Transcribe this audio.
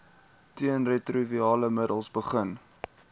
teenretrovirale middels begin